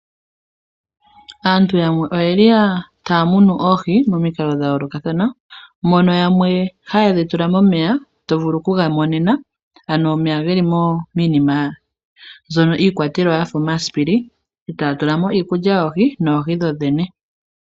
Aantu yamwe oye li taya munu oohi momikalo dha yoolokathana , mono yamwe haye dhi tula momeya to vulu okuga monena ano omeya ge li miinima ano mbyono iikwatelwa ya fa omasipili e taya tula mo iikulya yoohi noohi dhodhene.